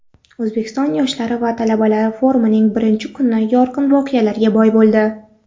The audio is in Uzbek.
O‘zbekiston yoshlari va talabalari forumining birinchi kuni yorqin voqealarga boy bo‘ldi.